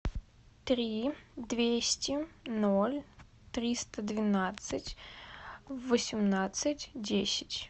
три двести ноль триста двенадцать восемнадцать десять